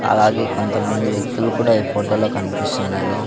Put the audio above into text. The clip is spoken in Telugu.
అలాగే కొంతమంది వ్యక్తులు కూడా ఈ ఫొటో లో కన్పిస్తున్నారు.